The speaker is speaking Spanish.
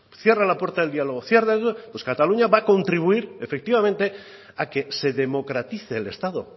cierra la puerta del diálogo cierra pues cataluña va a contribuir efectivamente a que se democratice el estado